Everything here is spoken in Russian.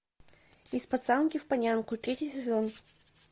из пацанки в панянку третий сезон